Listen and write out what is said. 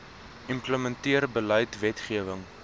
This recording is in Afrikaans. implementeer beleid wetgewing